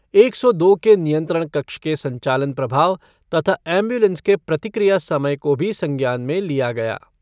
एक सौ दो के नियंत्रण कक्ष के संचालन प्रभाव तथा एमब्यूलेंस के प्रतिक्रिया समय को भी संज्ञान में लिया गया।